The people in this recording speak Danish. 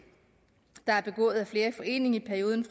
der er begået af flere i forening i perioden